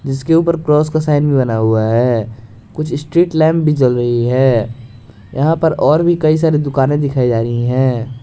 इसके ऊपर क्रॉस का साइन भी बना हुआ है कुछ स्ट्रीट लैंप भी जल रही है यहां पर और भी कई सारी दुकानें दिखाई जा रही है।